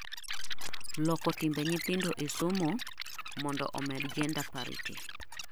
loko timbe nyithindo e somo mondo omed gender parity